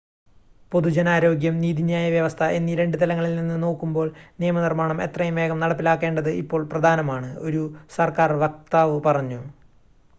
"""പൊതുജനാരോഗ്യം നീതിന്യായ വ്യവസ്ഥ എന്നീ രണ്ട് തലങ്ങളിൽ നിന്ന് നോക്കുമ്പോൾ നിയമനിർമ്മാണം എത്രയും വേഗം നടപ്പിലാക്കേണ്ടത് ഇപ്പോൾ പ്രധാനമാണ്" ഒരു സർക്കാർ വക്താവ് പറഞ്ഞു.